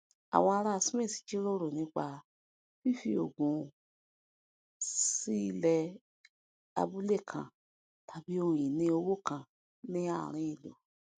àwọn ará smith jíròrò nípa fífi ogún wọn sí ilẹ abúlé kan tàbí ohun ìní òwò kan ní àárín ìlú